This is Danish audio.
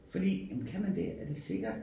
Fordi jamen kan man det er det sikkert